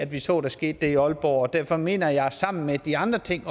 vi så der skete i aalborg derfor mener jeg sammen med de andre ting